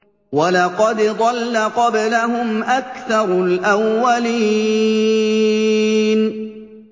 وَلَقَدْ ضَلَّ قَبْلَهُمْ أَكْثَرُ الْأَوَّلِينَ